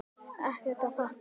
Ekkert að þakka.